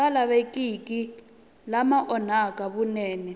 nga lavekiki lama onhaka vunene